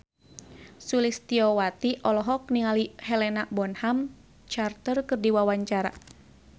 Sulistyowati olohok ningali Helena Bonham Carter keur diwawancara